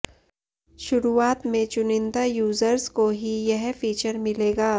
शुरुआत में चुनिन्दा यूज़र्स को ही यह फीचर मिलेगा